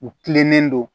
U kilennen don